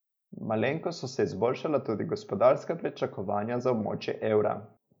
Malenkost so se izboljšala tudi gospodarska pričakovanja za območje evra.